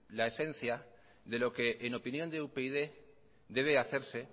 la esencia de lo que en opinión de upyd debe hacerse